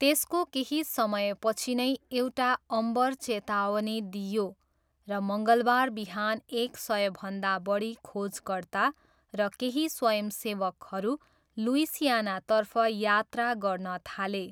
त्यसको केही समयपछि नै एउटा अम्बर चेतावनी दिइयो र मङ्गलबार बिहान एक सयभन्दा बढी खोजकर्ता र केही स्वयंसेवकहरू लुइसियानातर्फ यात्रा गर्न थाले।